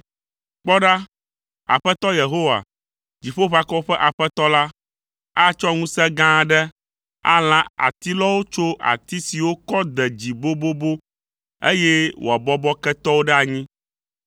Kpɔ ɖa, Aƒetɔ Yehowa, Dziƒoʋakɔwo ƒe Aƒetɔ la, atsɔ ŋusẽ gã aɖe alã atilɔwo tso ati siwo kɔ de dzi bobobo, eye wòabɔbɔ ketɔwo ɖe anyi.